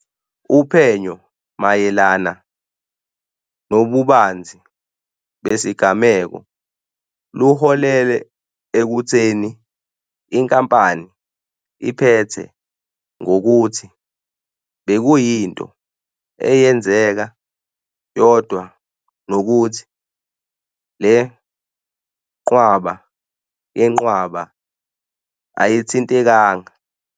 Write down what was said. Uphenyo mayelana nobubanzi besigameko luholele ekutheni inkampani iphethe ngokuthi bekuyinto eyenzeka yodwa nokuthi le nqwaba yenqwaba ayithintekanga.